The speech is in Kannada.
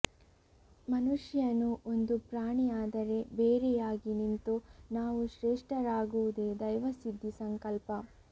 ಮನುಷ್ಯನೂ ಒಂದು ಪ್ರಾಣಿ ಆದರೆ ಬೇರೆಯಾಗಿ ನಿಂತು ನಾವು ಶ್ರೇಷ್ಠರಾಗುವುದೇ ದೈವಸಿದ್ಧಿ ಸಂಕಲ್ಪ